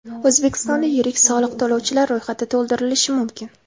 O‘zbekistonda yirik soliq to‘lovchilar ro‘yxati to‘ldirilishi mumkin.